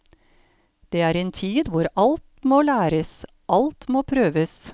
Det er en tid hvor alt må læres, alt må prøves.